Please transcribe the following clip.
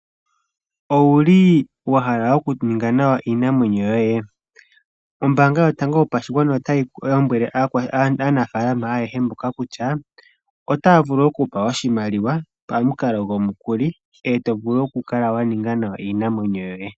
Owu li wa hala okuninga nawa iinamwenyo yoye? Ombaanga yotango yopashigwana otayi lombwele aanafaalama ayehe mboka kutya otaya vulu okukutha oshimaliwa pamukalo gomukuli, e to vulu okukala wa ninga nawa iinamwenyo yoye.